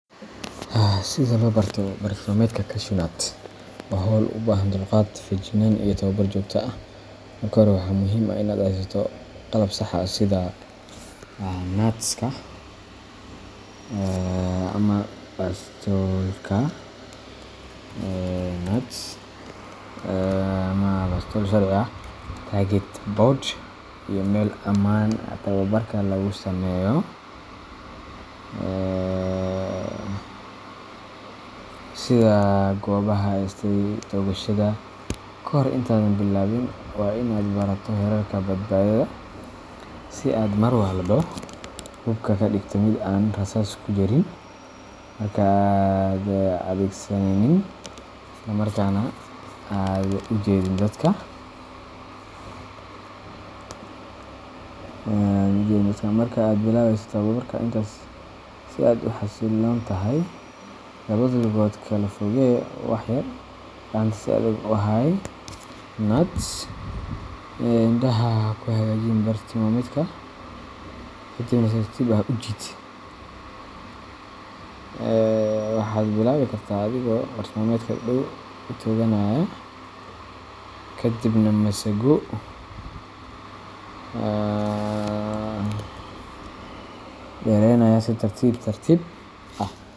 Sida loo barto bartilmaameedka cashewnut waa hawl u baahan dulqaad, feejignaan iyo tababar joogto ah. Marka hore, waa muhiim in aad haysato qalab sax ah sida nuts ama bastoolad sharci ah, target board iyo meel ammaan ah oo tababarka lagu sameeyo, sida goobaha loo asteeyay toogashada. Kahor intaadan bilaabin, waa in aad barato xeerarka badbaadada, sida in aad mar walba hubka ka dhigto mid aan rasaas ku jirin marka aanad adeegsanaynin, isla markaana aanad u jeedin dadka. Marka aad bilaabayso tababarka, istaag si aad u xasilloon tahay, labada lugood kala fogee wax yar, gacanta si adag u hay nuts, indhaha ku hagaaji bartilmaameedka, kadibna si tartiib ah u jiid. Waxaad bilaabi kartaa adigoo bartilmaameedka dhow u tooganaya, kadibna masaago dheeraynaya si tartiib tartiib ah.